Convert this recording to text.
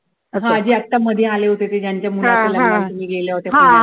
अगं जे आत्ता मध्ये आले होते ते ज्यांच्या मुलाच्या लग्नाला तुम्ही गेल्या होत्या